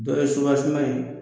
Dɔ ye subasiman in ko